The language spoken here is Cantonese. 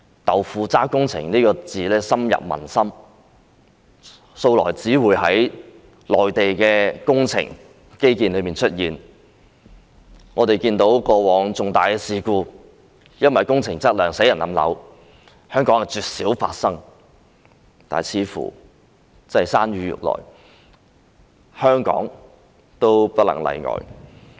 "豆腐渣工程"這詞語深入民心，以前只會在內地的工程或基建出現，過往因工程質量而發生重大事故，導致人命傷亡的情況，絕少在香港發生，但似乎真的是山雨欲來，香港也不能例外。